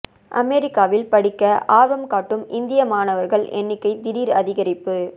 அமெரிக்காவில் படிக்க ஆர்வம் காட்டும் இந்திய மாணவர்கள் எண்ணிக்கை திடீர் அதிகரிப்பு